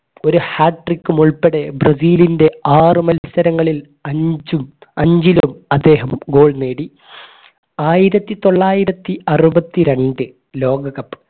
ഒരു hat trick ഉം ഉൾപ്പെടെ ബ്രസീലിന്റെ ആറുമത്സരങ്ങളിൽ അഞ്ചും അഞ്ചിലും അദ്ദേഹം goal നേടി ആയിരത്തിത്തൊള്ളായിരത്തി അറുപത്തിരണ്ട്‍ ലോക cup